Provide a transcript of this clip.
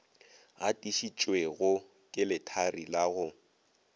gatišitšwego ke lethari la go